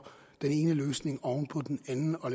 den ene løsning oven på den anden og